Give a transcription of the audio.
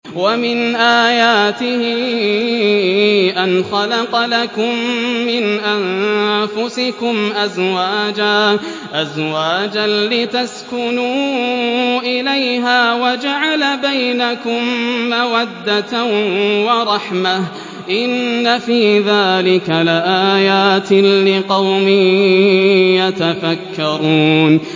وَمِنْ آيَاتِهِ أَنْ خَلَقَ لَكُم مِّنْ أَنفُسِكُمْ أَزْوَاجًا لِّتَسْكُنُوا إِلَيْهَا وَجَعَلَ بَيْنَكُم مَّوَدَّةً وَرَحْمَةً ۚ إِنَّ فِي ذَٰلِكَ لَآيَاتٍ لِّقَوْمٍ يَتَفَكَّرُونَ